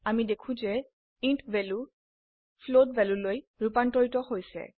আমি দেখো যে ইণ্ট ভ্যালু ফ্লোট ভ্যালুলৈ ৰুপান্তৰিত হৈছে